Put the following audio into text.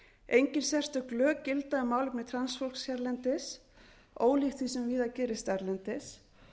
engin sérstök lög gilda um málefni transfólks hérlendis ólíkt því sem víða gerist erlendis